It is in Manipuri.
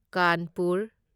ꯀꯥꯟꯄꯨꯔ